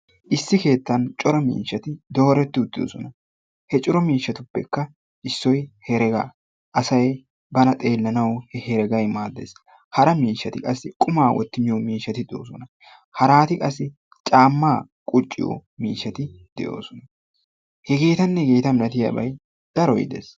Issi keettan cora miishshatti dooretti uttidosona. He cora miishshattupekka issoy heregga asay banna xellanawu hereggay maades hara miishshatti qassi qumma wotti miyoo miishshatta, de'eoossona haratti qaassi caamma qucciyo miishshatti de'oossona, hegettanne hegetta malattiyabay daroy dees.